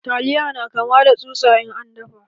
Taliya na kama da tsusa in an dafa.